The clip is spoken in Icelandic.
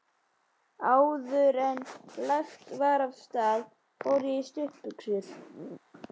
Áðuren lagt var af stað fór ég í stuttbuxur.